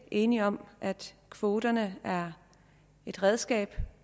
enige om at kvoterne er et redskab